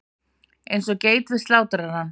Eins og geit við slátrarann.